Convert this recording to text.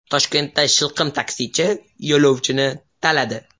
Toshkentda shilqim taksichi yo‘lovchini taladi.